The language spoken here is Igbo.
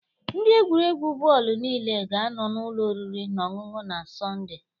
Ndị egwuregwu bọọlụ niile ga-anọ n'ụlọ oriri na ọṅụṅụ na Sọnde.